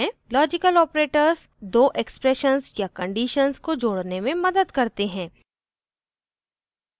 * logical operators दो expressions या conditions को जोड़ने में मदद करते हैं